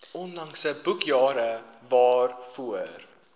onlangse boekjare waarvoor